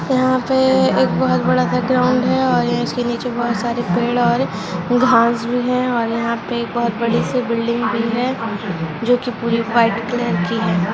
यहां पे एक बहुत बड़ा का ग्राउंड है और इसके नीचे बहुत सारे पेड़ और घास भी है और यहां पर बहुत बड़ी सी बिल्डिंग भी है जो की पूरी व्हाइट कलर की हैं।